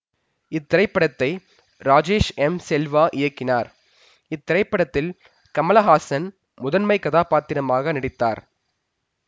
இத்திரைப்படத்தை ராஜேஸ் எம்செல்வா இயக்கினார் இத்திரைப்படத்தில் கமலஹாசன் முதன்மைக் கதா பாத்திரமாக நடித்தார்